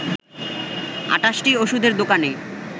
২৮টি ওষুধের দোকানে